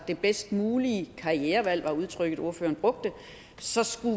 det bedst mulige karrierevalg var udtrykket ordføreren brugte så skulle